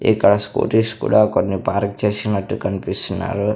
ఇక్కడ స్కూటీస్ కూడా కొన్ని పార్క్ చేసినట్టు కనిపిస్తున్నారు.